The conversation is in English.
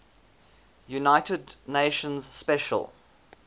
united nations special